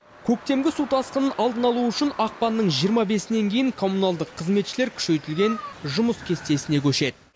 көктемгі су тасқынын алдын алу үшін ақпанның жиырма бесінен кейін коммуналдық қызметшілер күшейтілген жұмыс кестесіне көшеді